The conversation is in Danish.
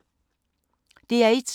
DR1